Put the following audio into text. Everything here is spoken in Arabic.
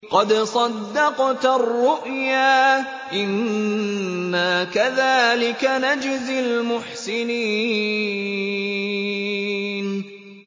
قَدْ صَدَّقْتَ الرُّؤْيَا ۚ إِنَّا كَذَٰلِكَ نَجْزِي الْمُحْسِنِينَ